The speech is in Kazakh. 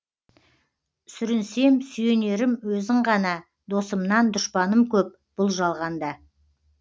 сүрінсем сүйенерім өзің ғана досымнан дұшпаным көп бұл жалғанда